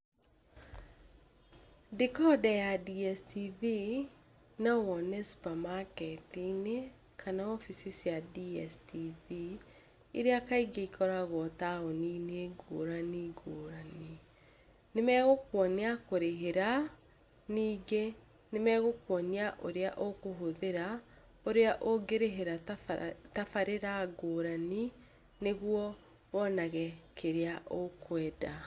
Dekonda ya DSTV no wone supermarket -inĩ kana wobici cia DSTV Iria kaingĩ ikoragwo taũni ngũrani ngũrani. Nĩ magũkwonia kũrĩhĩra ningĩ, nĩ magũkwonia ũrĩa ũkũhũthĩra, ũrĩa ũngĩrĩhĩra tabarĩra ngũrani nĩguo wonage kĩrĩa ũkwenda.